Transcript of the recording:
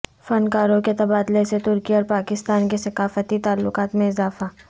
فنکاروں کے تبادلے سے ترکی اور پاکستان کے ثقافتی تعلقات میں اضافہ